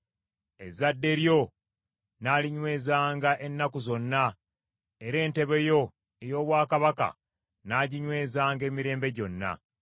“Ezadde lyo nnaalinywezanga ennaku zonna, era entebe yo ey’obwakabaka nnaaginywezanga emirembe gyonna.”